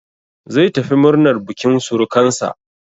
Zai tafi murnan bukin surukansa.